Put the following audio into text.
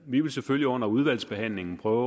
vi vil selvfølgelig under udvalgsbehandlingen prøve